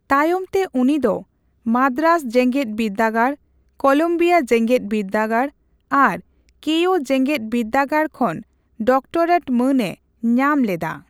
ᱛᱟᱭᱚᱢᱛᱮ ᱩᱱᱤ ᱫᱚ ᱢᱟᱫᱽᱨᱟᱡᱽ ᱡᱮᱜᱮᱫ ᱵᱤᱨᱫᱟᱹᱜᱟᱲ, ᱠᱚᱞᱚᱢᱵᱤᱭᱟ ᱡᱮᱜᱮᱫ ᱵᱤᱨᱫᱟᱹᱜᱟᱲ ᱟᱨ ᱠᱮᱭᱳ ᱡᱮᱜᱮᱫ ᱵᱤᱨᱫᱟᱹᱜᱟᱲ ᱠᱷᱚᱱ ᱰᱚᱠᱴᱚᱨᱮᱴ ᱢᱟᱹᱱᱮ ᱧᱟᱢ ᱞᱮᱫᱟ ᱾